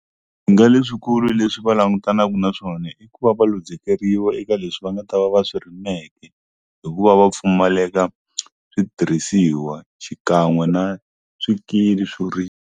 Swihinga leswikulu leswi va langutanaka na swona i ku va va luzekeriwa eka leswi va nga ta va va swi rimeke hikuva va pfumaleka switirhisiwa xikan'we na swikili swo ri .